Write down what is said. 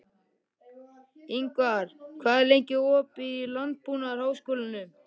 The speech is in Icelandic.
Ingvar, hvað er lengi opið í Landbúnaðarháskólanum?